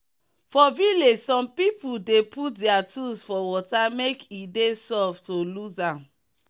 for village some people dey put their tools for water make e dey soft to lose am